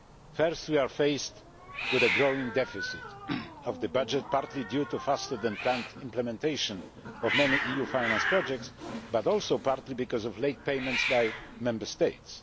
First, we are faced with a growing deficit of the budget partly due to faster than planned implementation of many EU financed projects, but also partly because of late payments by Member States.